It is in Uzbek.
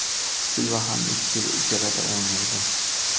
Silva ham ikki yil ijarada o‘ynaydi.